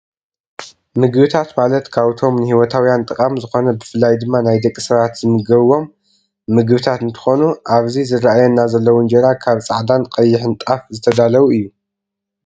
ምግብታት ማለት ካብቶም ንሂወታውያን ጠቃሚ ዝኮነ ብፍላይ ድማ ናይ ደቂ ሰባት ዝምገብዎም ምግብታት እንትኮኑኣብዚ ዝረኣይና ዘለው እንጀራ ካብ ፃዕዳን ቀይን ጣፍ ዝተዳለው እዩ።